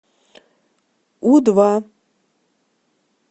у два